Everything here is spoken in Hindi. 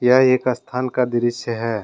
यह एक स्थान का दृश्य है।